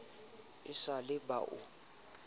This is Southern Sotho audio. e sa le ba o